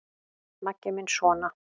Maggi minn sona!